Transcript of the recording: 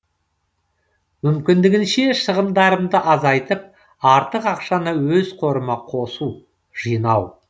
мүмкіндігінше шығындарымды азайтып артық ақшаны өз қорыма қосу жинау